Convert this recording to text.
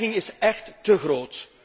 De dreiging is écht te groot.